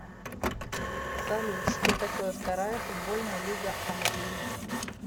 салют что такое вторая футбольная лига англии